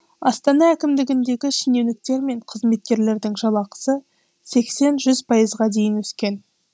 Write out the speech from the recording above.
астана әкімдігіндегі шенеуніктер мен қызметкерлердің жалақысы сексен жүз пайызға дейін өскен